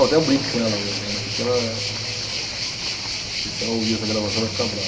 Até eu brinco com ela hoje, né, porque ela eh, se se se ela ouvir essa gravação, vai ficar brava.